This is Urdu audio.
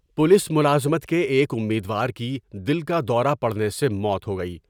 پولیس ملازمت کے ایک امیدوار کی دل کا دورہ پڑنے سے موت ہوگئی ۔